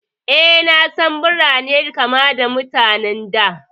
Eh, na san Birai na kama da Mutane da